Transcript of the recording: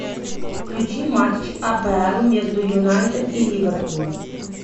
включи матч апл между юнайтед и ливерпулем